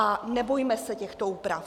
A nebojme se těchto úprav.